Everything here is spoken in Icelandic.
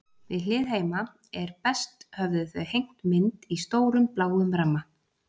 Við hlið heima er best höfðu þau hengt mynd í stórum, bláum ramma.